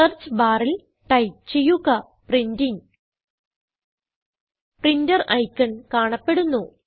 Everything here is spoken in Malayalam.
സെർച്ച് ബാറിൽ ടൈപ്പ് ചെയ്യുക പ്രിന്റിംഗ് പ്രിന്റർ ഐക്കൺ കാണപ്പെടുന്നു